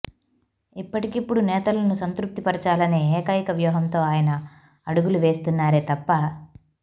ఇప్పటికిప్పుడు నేతలను సంతృప్తి పరచాలనే ఏకైక వ్యూహంతో ఆయన అడుగులు వేస్తున్నారే తప్ప